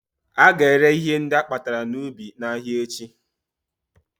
Ága ere ihe ndị akpatara n'ubi n'ahịa echi